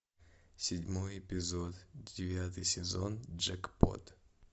седьмой эпизод девятый сезон джекпот